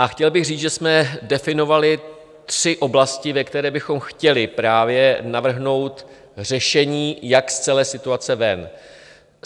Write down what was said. A chtěl bych říct, že jsme definovali tři oblasti, ve kterých bychom chtěli právě navrhnout řešení, jak z celé situace ven.